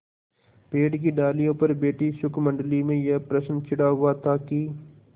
पेड़ की डालियों पर बैठी शुकमंडली में यह प्रश्न छिड़ा हुआ था कि